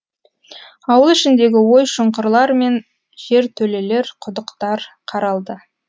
ауыл ішіндегі ой шұңқырлар мен жертөлелер құдықтар қаралды